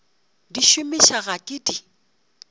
di gomiša ga ke di